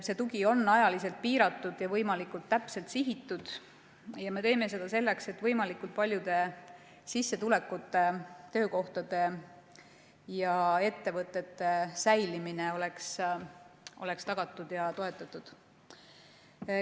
See tugi on ajaliselt piiratud ja võimalikult täpselt sihitud ja me teeme seda selleks, et võimalikult paljude sissetulekute, töökohtade ja ettevõtete säilimine oleks tagatud ja toetatud.